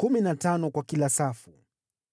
kumi na tano kwa kila safu.